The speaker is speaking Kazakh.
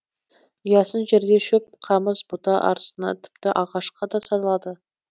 ұясын жерде шөп қамыс бұта арсына тіпті ағашқа да салады